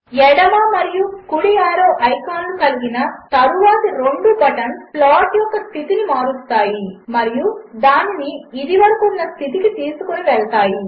ఎడమమరియుకుడిఆరోఐకాన్లుకలిగినతరువాతిరెండుబటన్స్ప్లాట్యొక్కస్థితినిమారుస్తాయిమరియుదానినిఇదివరకుఉన్నస్థితికితీసుకొనివెళ్తాయి